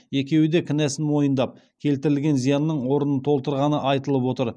екеуі де кінәсін мойындап келтірілген зиянның орнын толтырғаны айтылып отыр